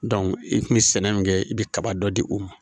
i kun bɛ sɛnɛ min kɛ i bɛ kaba dɔ di u ma